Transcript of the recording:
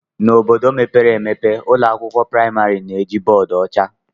N'obodo mepere emepe, ụlọ akwụkwọ praịmarị na-eji bọọdụ ọcha.